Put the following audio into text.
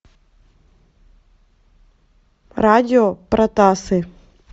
радио протасы